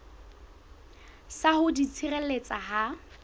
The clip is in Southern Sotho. sa ho di tshireletsa ha